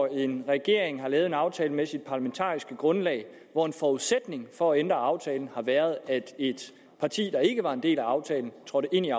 en regering har lavet en aftale med sit parlamentariske grundlag hvor en forudsætning for at ændre aftalen har været at et parti der ikke var en del af aftalen trådte ind i